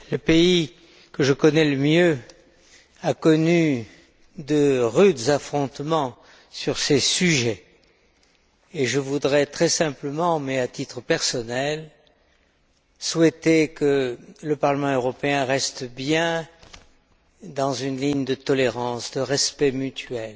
Madame la Présidente, le pays que je connais le mieux a été le théâtre de rudes affrontements sur ces sujets et je voudrais très simplement, mais à titre personnel, souhaiter que le Parlement européen reste bien dans une ligne de tolérance, de respect mutuel.